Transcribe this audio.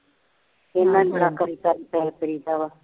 ਬੜਾ ਤਰੀਕਾ ਵਾ